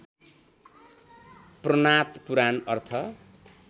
पूर्णात पुराण अर्थ